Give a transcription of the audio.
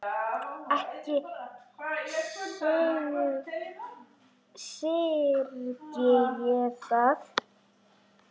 Ekki syrgi ég það.